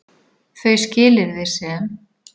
Þau skilyrði sem